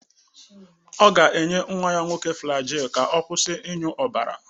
Ọ ga-enye nnwa ya nwoke Flajil ka ọ kwụsị ịnyụ ọbara.